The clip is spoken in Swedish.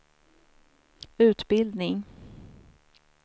utbildning